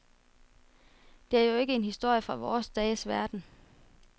Det er jo ikke en historie fra vore dages verden.